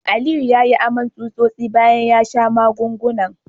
Aliyu yayi aman tsutsosi biyu bayan ya sha magungunan